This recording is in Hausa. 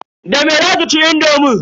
Da me zaki ci indomin?